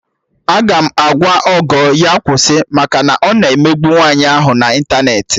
Aga m agwa Ogo ya kwụsị maka na ọ na-emegbu nwaanyị ahụ na ịntanetị